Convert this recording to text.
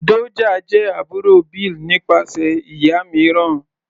Doja jẹ́ àbúrò Bill nípasẹ̀ ìyá mìíràn.